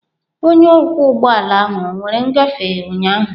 Onye ọkwọ ụgbọ ala ahụ ọ were ngafe ụnyaahụ?